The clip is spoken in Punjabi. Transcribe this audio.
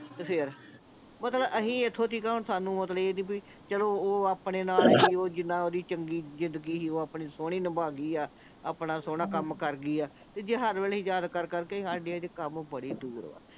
ਤੇ ਫੇਰ ਮਤਲਬ ਅਸੀਂ ਐਥੋਂ ਤੀਕ ਹੁਣ ਸਾਨੂੰ ਮਤਲਬ ਇਹ ਨਹੀਂ ਬੀ ਚਲੋ ਆਪਣੇ ਨਾਲ ਓਹ ਜਿੰਨਾਂ ਓਹਦੀ ਚੰਗੀ ਜਿੰਦਗੀ ਸੀ ਓਹ ਆਪਣੀ ਸੋਹਣੀ ਨਿਭਾ ਗਈ ਆ ਆਪਣਾ ਸੋਹਣਾ ਕੰਮ ਕਰ ਗਈ ਆ ਤੇ ਜੇ ਹਰ ਵੇਲੇ ਅਸੀਂ ਯਾਦ ਕਰ ਕਰ ਕੇ ਹਜੇ ਕੰਮ ਬੜੀ ਦੂਰ ਵਾ